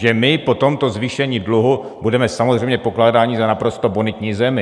Že my po tomto zvýšení dluhu budeme samozřejmě pokládáni za naprosto bonitní zemi.